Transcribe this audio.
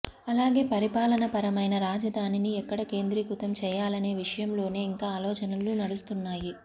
అలాగే పరిపాలన పరమైన రాజధానిని ఎక్కడ కేంద్రీకృతం చేయాలనే విషయంలోనే ఇంకా ఆలోచనలు నడుస్తున్నాయి